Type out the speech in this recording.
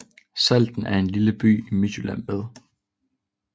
Salten er en lille by i Midtjylland med